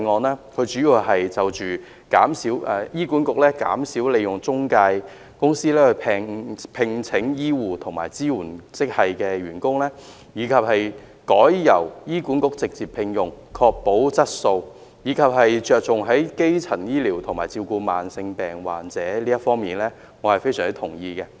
她主要是建議醫院管理局減少利用中介公司聘請醫護和支援職系人員，逐步改由醫管局直接聘用，從而確保質素，並着重基層醫療的發展和對慢性疾病患者的照顧，對於這些，我是非常同意的。